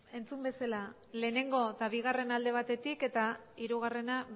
entzun bezala lehenengo eta bigarrena alde batetik eta hirugarrena